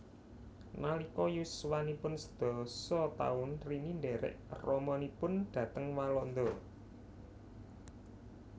Nalika yuswanipun sedasa taun Rini ndhèrèk ramanipun dhateng Walanda